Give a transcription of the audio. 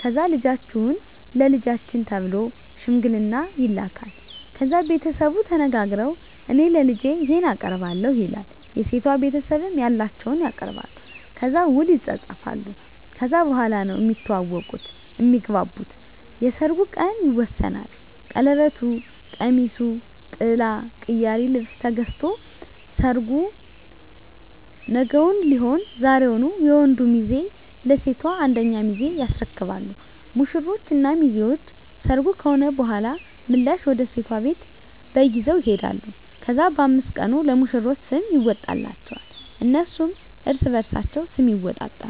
ከዛ ልጃችሁን ለልጃችን ተብሎ ሽምግልና ይላካል። ከዛ ቤተሰቡ ተነጋግረዉ እኔ ለልጄ ይሄን አቀርባለሁ ይላል የሴቷ ቤተሰብም ያላቸዉን ያቀርባሉ። ከዛ ዉል ይፃፃፋሉ ከዛ በኋላ ነዉ እሚተዋወቁት (እሚግባቡት) የሰርጉ ቀን ይወሰናል ቀለበቱ፣ ቀሚሱ፣ ጥላ፣ ቅያሪ ልብስ ገዝቶ ሰርጉ ነገዉን ሊሆን ዛሬዉን የወንዱ ሚዜ ለሴቷ አንደኛ ሚዜ ያስረክባሉ። ሙሽሮች እና ሚዜዎች ሰርጉ ከሆነ በኋላ ምላሽ ወደ ሴቷ ቤት በግ ይዘዉ ይሄዳሉ። ከዛ በ5 ቀኑ ለሙሽሮች ስም ይወጣላቸዋል እነሱም እርስበርሳቸዉ ስም ይወጣጣሉ።